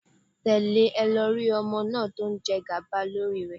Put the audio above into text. Tẹ̀lé e lọ rí ọmọ náà tó jẹgàba lórí rẹ